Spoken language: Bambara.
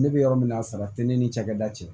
Ne bɛ yɔrɔ min na sara tɛ ne ni cakɛda cɛ